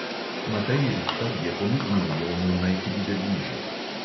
Matej rihtar je pomignil jonu, naj pride bližje.